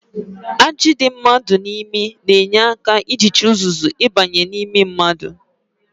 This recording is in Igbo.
Ajị dị mmadụ n'imi na-enye aka ijichi uzuzu ịbanye n'imi mmadụ